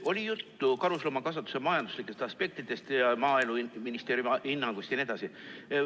Oli juttu karusloomakasvatuse majanduslikest aspektidest ja Maaeluministeeriumi hinnangust jne.